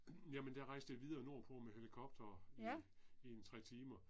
Jamen der rejste jeg videre nordpå med helikopter i i en 3 timer